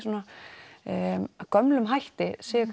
að gömlum hætti séu